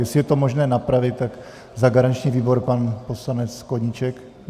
Jestli je to možné napravit, tak za garanční výbor pan poslanec Koníček.